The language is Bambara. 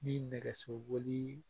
Ni nɛgɛso